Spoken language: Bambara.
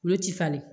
Olu ti falen